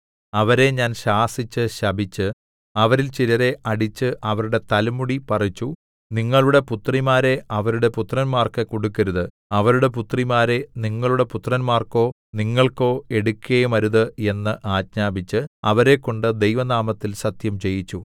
അവരെ ഞാൻ ശാസിച്ച് ശപിച്ച് അവരിൽ ചിലരെ അടിച്ച് അവരുടെ തലമുടി പറിച്ചു നിങ്ങളുടെ പുത്രിമാരെ അവരുടെ പുത്രന്മാർക്ക് കൊടുക്കരുത് അവരുടെ പുത്രിമാരെ നിങ്ങളുടെ പുത്രന്മാർക്കോ നിങ്ങൾക്കോ എടുക്കയുമരുത് എന്ന് ആജ്ഞാപിച്ച് അവരെക്കൊണ്ട് ദൈവനാമത്തിൽ സത്യംചെയ്യിച്ചു